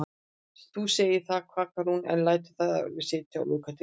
Þú segir það, kvakar hún en lætur þar við sitja og lokar dyrunum.